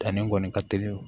Danni kɔni ka teli